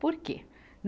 Por quê?